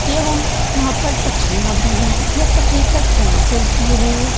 एवं यहाँ पर पटरीयां भी है| यह पटरी पर ट्रेन चलती है।